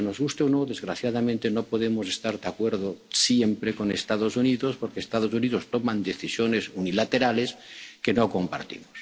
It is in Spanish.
qué es lo que defendemos. Porque, nos guste o no, desgraciadamente, no podemos estar de acuerdo siempre con los Estados Unidos, porque los Estados Unidos toman decisiones unilaterales